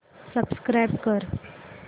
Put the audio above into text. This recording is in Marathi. सबस्क्राईब कर